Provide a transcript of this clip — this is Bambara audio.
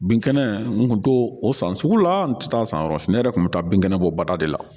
Bin kɛnɛ n kun t'o o san sugu la n kun tɛ taa san yɔrɔ si ne yɛrɛ kun bɛ taa bin kɛnɛ bɔ bada de la